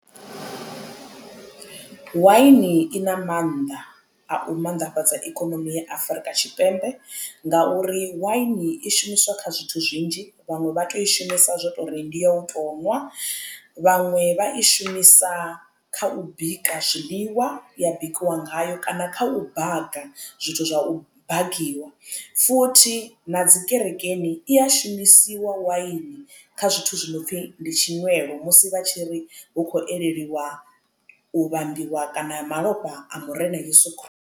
Waini i na maanḓa a u mannḓafhadza ikonomi ya Afurika Tshipembe ngauri waini i shumiswa kha zwithu zwinzhi vhanwe vha to u i shumisa zwo tori ndi ya u to nwa vhaṅwe vha i shumisa kha u bika zwiḽiwa ya bikiwa ngayo kana kha u baga zwithu zwa u bagiwa futhi na dzi kerekeni i a shumisiwa waini kha zwithu zwi no pfhi ndi tshinwelo musi vha tshi ri hu khou elelwa u vhambiwa kana ya malofha a murena yeso